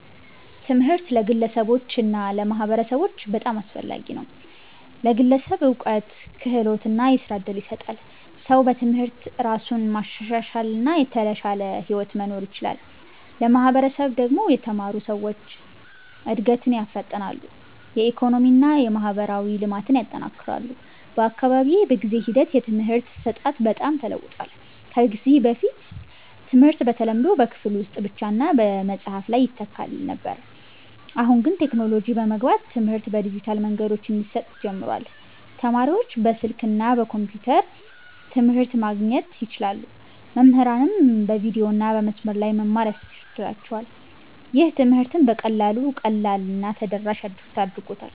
ትምህርት ለግለሰቦች እና ለማህበረሰቦች በጣም አስፈላጊ ነው። ለግለሰብ እውቀት፣ ክህሎት እና የሥራ እድል ይሰጣል። ሰው በትምህርት እራሱን ማሻሻል እና የተሻለ ሕይወት መኖር ይችላል። ለማህበረሰብ ደግሞ የተማሩ ሰዎች እድገትን ያፋጥናሉ፣ የኢኮኖሚ እና የማህበራዊ ልማትን ያጠናክራሉ። በአካባቢዬ በጊዜ ሂደት የትምህርት አሰጣጥ በጣም ተለውጧል። ከዚህ በፊት ትምህርት በተለምዶ በክፍል ውስጥ ብቻ እና በመጽሐፍ ላይ ይተካል ነበር። አሁን ግን ቴክኖሎጂ በመግባት ትምህርት በዲጂታል መንገዶች እንዲሰጥ ጀምሯል። ተማሪዎች በስልክ እና በኮምፒውተር ትምህርት ማግኘት ይችላሉ፣ መምህራንም በቪዲዮ እና በመስመር ላይ መማር ያስችላቸዋል። ይህ ትምህርትን በጣም ቀላል እና ተደራሽ አድርጎታል።